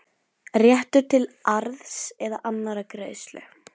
réttur til arðs eða annarrar greiðslu.